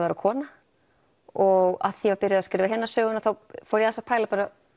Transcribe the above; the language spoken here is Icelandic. vera kona og af því ég var byrjuð að skrifa hina söguna þá fór ég aðeins að pæla